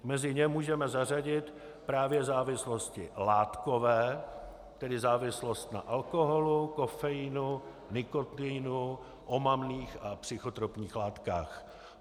Mezi ně můžeme zařadit právě závislosti látkové, tedy závislost na alkoholu, kofeinu, nikotinu, omamných a psychotropních látkách.